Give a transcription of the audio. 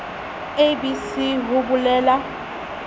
a b c ho belaela